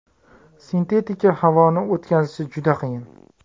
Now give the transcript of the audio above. Sintetika havoni o‘tkazishi juda qiyin.